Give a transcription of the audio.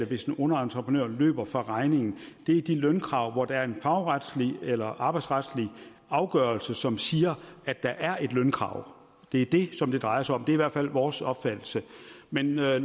hvis en underentreprenør løber fra regningen er de lønkrav hvor der er en fagretslig eller arbejdsretslig afgørelse som siger at der er et lønkrav det er det som det drejer sig om det er i hvert fald vores opfattelse men når jeg